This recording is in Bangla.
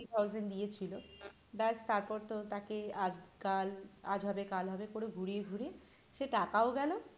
fifty thousand দিয়েছিল ব্যাস তারপর তো তাকে আজ কাল আজ হবে কাল হবে করে ঘুরিয়ে ঘুরিয়ে সে টাকাও গেল।